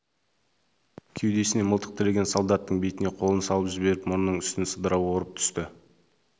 кеудесіне мылтық тіреген солдаттың бетіне қолын салып жіберіп мұрнының үстін сыдыра орып түсті